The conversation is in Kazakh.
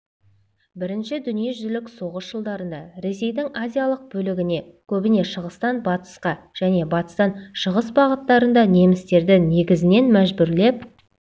бірінші дүниежүзілік соғыс жылдарында ресейдің азиялық бөлігіне көбіне шығыстан батысқа және батыстан шығыс бағыттарында немістерді негізінен мәжбүрлеп